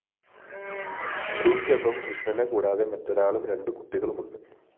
സ്ത്രീക്കൊപ്പം കൃഷ്ണനെ കൂടാതെ മറ്റൊരാളും രണ്ട് കുട്ടികളുമുണ്ട്